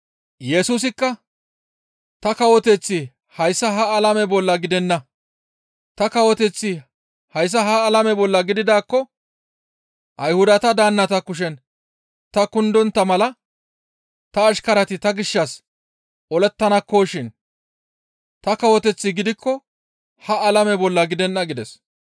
Yesusikka, «Ta kawoteththi hayssa ha alame bolla gidenna. Ta kawoteththi hayssa ha alame bolla gididaakko Ayhudata daannata kushen ta kundontta mala ta ashkarati ta gishshas olettanakkoshin ta kawoteththi gidikko ha alame bolla gidenna» gides.